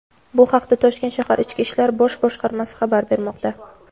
Bu haqda Toshkent shahar Ichki ishlar bosh boshqarmasi xabar bermoqda.